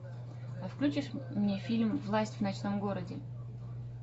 включишь мне фильм власть в ночном городе